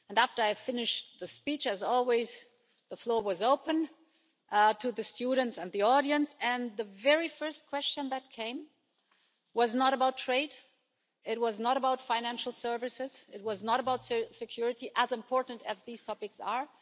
After I had finished the speech, as always the floor was opened to the students and the audience and the very first question that came was not about trade, it was not about financial services, it was not about security, as important as these topics are.